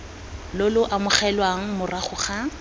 lo lo amogelwang morago ga